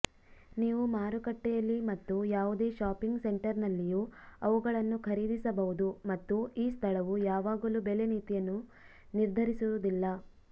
ನೀವು ಮಾರುಕಟ್ಟೆಯಲ್ಲಿ ಮತ್ತು ಯಾವುದೇ ಶಾಪಿಂಗ್ ಸೆಂಟರ್ನಲ್ಲಿಯೂ ಅವುಗಳನ್ನು ಖರೀದಿಸಬಹುದು ಮತ್ತು ಈ ಸ್ಥಳವು ಯಾವಾಗಲೂ ಬೆಲೆ ನೀತಿಯನ್ನು ನಿರ್ಧರಿಸುವುದಿಲ್ಲ